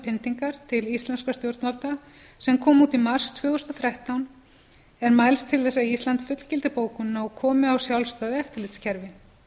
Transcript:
pyndingar til íslenskra stjórnvalda sem kom út í mars tvö þúsund og þrettán er mælst til þess að ísland fullgildi bókunina og komi á sjálfstæðu eftirlitskerfi